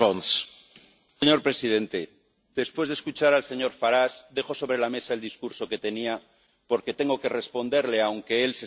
Señor Presidente, después de escuchar al señor Farage, dejo sobre la mesa el discurso que tenía porque tengo que responderle, aunque él se esté marchando.